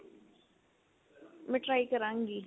ਮੈਂ try ਕਰਾਗੀ